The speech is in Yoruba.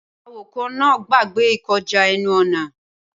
Awakọ̀ náà gbàgbé ìkọjá ẹnu-ọ̀nà